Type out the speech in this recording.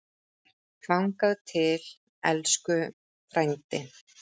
Þangað til, elsku frændi.